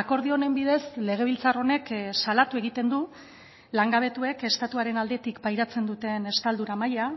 akordio honen bidez legebiltzar honek salatu egiten du langabetuek estatuaren aldetik pairatzen duten estaldura maila